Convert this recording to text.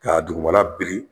K'a dugumana biri